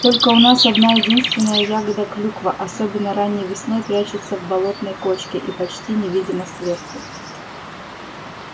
только у нас одна-единственная ягода клюква особенно ранней весной прячется в болотной кочке и почти невидима сверху